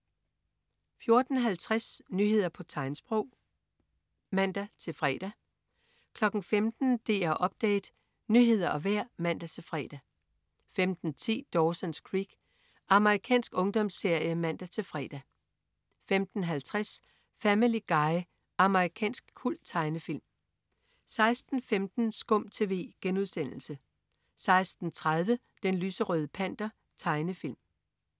14.50 Nyheder på tegnsprog (man-fre) 15.00 DR Update. Nyheder og vejr (man-fre) 15.10 Dawson's Creek. Amerikansk ungdomsserie (man-fre) 15.50 Family Guy. Amerikansk kulttegnefilm 16.15 SKUM TV* 16.30 Den lyserøde Panter. Tegnefilm